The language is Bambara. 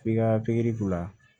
F'i ka pikiri k'u la